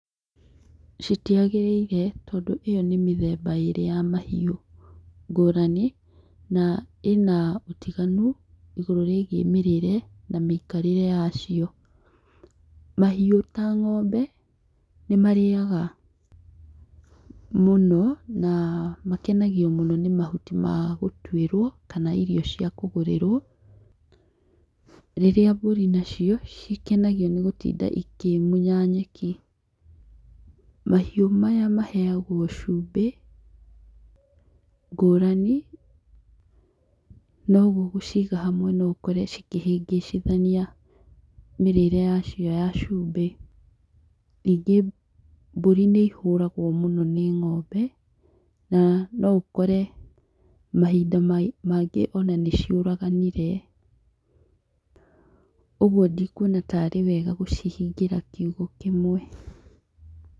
Citiagĩrĩire tondũ ĩyo nĩ mĩthemba ĩrĩ ya mahiũ ngũrani na ĩna ũtiganu igũrũ rĩgie mĩrĩre na mĩikarĩre yacio. Mahiũ ta ng'ombe nĩmarĩaga mũno na makenagio mũno nĩ mahuti ma gũtuĩrwo kana irio cia kũgũrĩrwo rĩrĩa mburi nacio ikenagio nĩ gũtinda ikĩmunya nyeki, mahiũ maya maheagwo chũmbĩ ngũrani noguo gũciga hamwe no ũkore cingĩhĩngĩcithania mĩrĩre yacio ya chumbĩ, ningĩ mbũri nĩihũragwo mũno nĩ ng'ombe na noũkore mahinda mangĩ, ona nĩ ciũraganire , ũguo ndikwona tarĩ wega gũcihingĩra kiugũ kĩmwe.